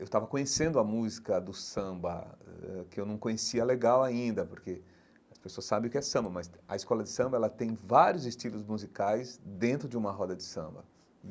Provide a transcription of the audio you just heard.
Eu estava conhecendo a música do samba eh, que eu não conhecia legal ainda, porque as pessoas sabem o que é samba, mas a escola de samba ela tem vários estilos musicais dentro de uma roda de samba.